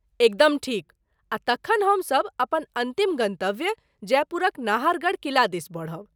एकदम ठीक। आ तखन हम सभ अपन अन्तिम गन्तव्य जयपुरक नाहरगढ़ किला दिस बढ़ब।